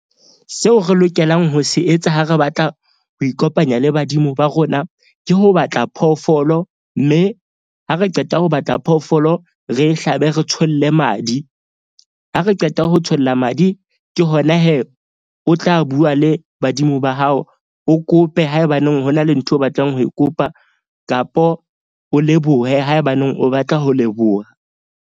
Seo re lokelang ho se etsa ha re batla ho ikopanya le badimo ba rona. Ke ho batla phoofolo, mme ha re qeta ho batla phoofolo, re hlabe re tsholle madi. Ha re qeta ho tsholla madi. Ke hona o tla bua le badimo ba hao. O kope haebaneng ho na le ntho eo o batlang ho e kopa. Kapo o lebohe haebaneng o batla ho leboha.